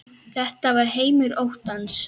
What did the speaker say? Þetta var heimur óttans.